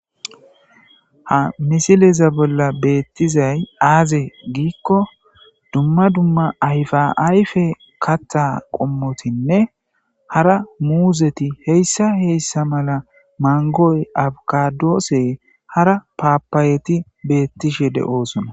Ha misileza bolla beettizay aaze giikko dumma dumma ayfaayfe katha qommotinne hara muuzeti heyssa heyssa mala mangoy abkadoose hara paapayeti beettishe de'oosona.